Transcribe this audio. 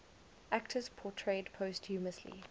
actors portrayed posthumously